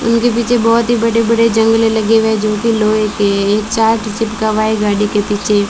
इनके पीछे बहोत ही बड़े बड़े जंगले लगे हुए जो कि लोहे के है एक चार्ट चिपका हुआ है गाड़ी के पीछे--